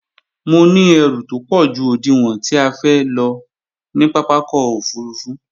Mo ní ẹrù tópọ̀ ju òdiwọ̀n tí a fẹ́ lọ ní pápákọ̀ òfurufú